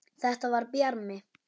Þetta var Bjarmi!